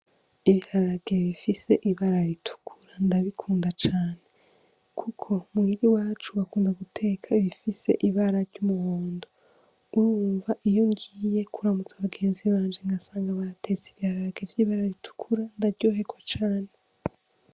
Ibiharage bifise ibara ritukura ndabikunda cane, kuko muhira iwacu bakunda guteka ibifise ibara ry'umuhondo urumva iyo ngiye kuramutsa abagenzi banje nkasanga batetse ibihararage vy'ibara ritukura ndaryoherwa cane.